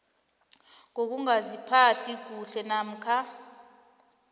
ngokungaziphathi kuhle namkha